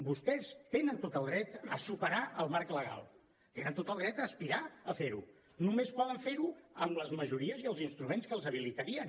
vostès tenen tot el dret a superar el marc legal tenen tot el dret a aspirar a fer ho només poden fer ho amb les majories i els instruments que els habilitarien